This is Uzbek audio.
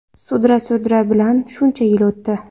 Sudra-sudra bilan shuncha yil o‘tdi.